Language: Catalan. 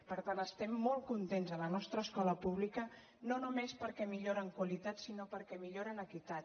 per tant estem molt contents de la nostra escola pública no només perquè millora en qualitat sinó perquè millora en equitat